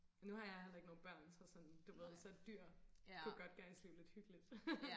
men nu har jeg heller ikke nogen børn så sådan du ved så dyr kunne godt gøre ens liv lidt hyggeligt